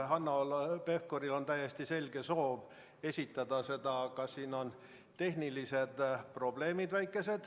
Hanno Pevkuril on täiesti selge soov seda esitada, aga sellega on väikesed tehnilised probleemid.